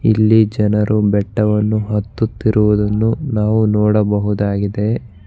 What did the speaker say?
ಇಲ್ಲಿ ಜನರು ಬೆಟ್ಟವನ್ನು ಹತ್ತುತ್ತಿರುವುದನ್ನು ನಾವು ನೋಡಬಹುದಾಗಿದೆ.